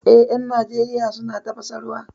Eh, 'yan Najeriya suna tafasa ruwa